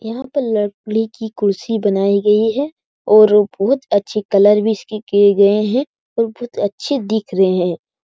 यहां पे लकड़ी की कुर्सी बनाई गई है और बहुत अच्छे कलर भी इसकी किए गए हैं और बहुत अच्छे दिख रहे हैं।